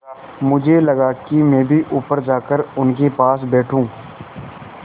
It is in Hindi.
मुझे लगा कि मैं भी ऊपर जाकर उनके पास बैठूँ